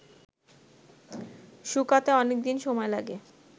শুকাতে অনেক দিন সময় লাগে